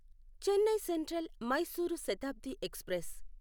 Chennai central Mysuru Shatabdi express